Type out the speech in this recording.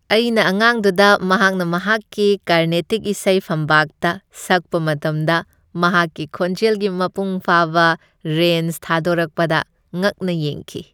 ꯑꯩꯅ ꯑꯉꯥꯡꯗꯨꯗ ꯃꯍꯥꯛꯅ ꯃꯍꯥꯛꯀꯤ ꯀꯔꯅꯦꯇꯤꯛ ꯏꯁꯩ ꯐꯝꯄꯥꯛꯇ ꯁꯛꯄ ꯃꯇꯝꯗ ꯃꯍꯥꯛꯀꯤ ꯈꯣꯟꯖꯦꯜꯒꯤ ꯃꯄꯨꯡ ꯐꯥꯕ ꯔꯦꯟꯖ ꯊꯥꯗꯣꯔꯛꯄꯗ ꯉꯛꯅ ꯌꯦꯡꯈꯤ ꯫